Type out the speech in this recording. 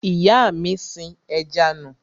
Ìyá mi sin ẹja nù.